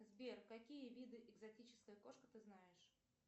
сбер какие виды экзотическая кошка ты знаешь